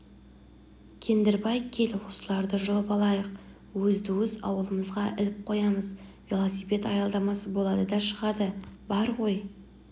кендірбай кел осыларды жұлып алайық өзді-өз ауламызға іліп қоямыз велосипед аялдамасы болады да шығады бар ғой